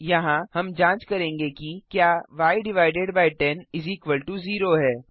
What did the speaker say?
यहाँ हम जांच करेंगे कि क्या y100 है